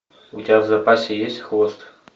у тебя в запасе есть хвост